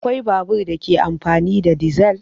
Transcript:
Akwai babur da ke amfani da dizal